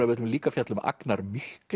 við ætlum líka að fjalla um Agnar